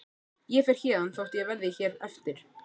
Ég fer héðan þótt ég verði hér eftir.